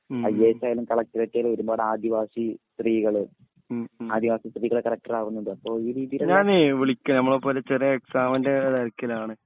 IAS ആയാലും collector ആയാലും ഒരുപാട് ആദിവാസി സ്ത്രീകള് ആദിവാസി സ്ത്രീകള് കളക്ടറാകുന്നുണ്ട് അപ്പോ ഈ രീതിയിലുള്ള